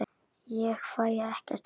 Ég fæ ekkert svar.